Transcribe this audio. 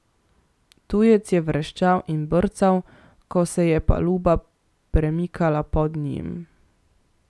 Tujec je vreščal in brcal, ko se je paluba premikala pod njim.